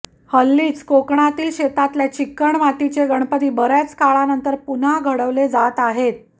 हल्लीच कोकणातील शेतातल्या चिकणमातीचे गणपती बऱ्याच काळानंतर पुनः घडवले जात आहेत